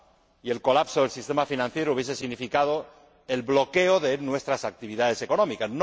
Y el colapso del sistema financiero hubiese significado el bloqueo de nuestras actividades económicas